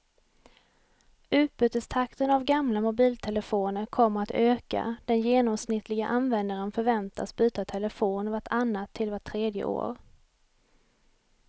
Utbytestakten av gamla mobiltelefoner kommer att öka, den genomsnittliga användaren förväntas byta telefon vart annat till vart tredje år.